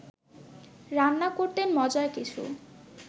রান্না করতেন মজার কিছু